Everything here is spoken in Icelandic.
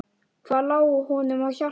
Hvað lá honum á hjarta?